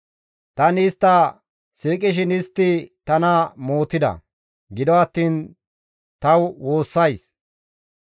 Tani istta siiqishin istti tana mootida; gido attiin ta woossays.